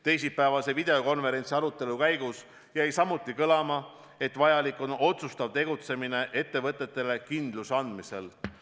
Teisipäevase videokonverentsi arutelul jäi samuti kõlama, et vajalik on otsustav tegutsemine ettevõtetele kindluse andmisel.